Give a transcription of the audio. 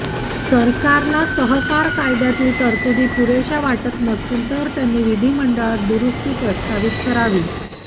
सरकारला सहकार कायद्यातील तरतुदी पुरेशा वाटत नसतील तर त्यांनी विधिमंडळात दुरुस्ती प्रस्तावित करावी